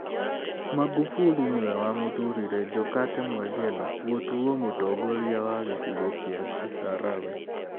Magufuli nĩwe wamũthuurire Jokate Mwegelo gũtuwo mũtongoria wa gĩcigo kĩa Kisarawe